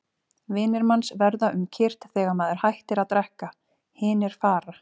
Vinir manns verða um kyrrt þegar maður hættir að drekka, hinir fara.